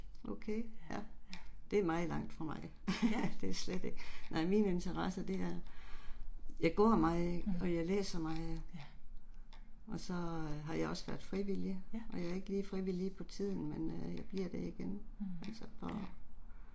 Ja. Åh, ja. Ja. mh